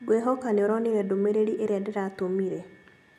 Ngwĩhoka nĩuronire ndũmĩrĩri ĩrĩa ndĩratũmire